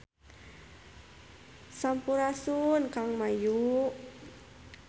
Sampurasun Kang Mayu